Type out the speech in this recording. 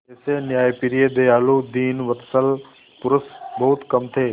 ऐसे न्यायप्रिय दयालु दीनवत्सल पुरुष बहुत कम थे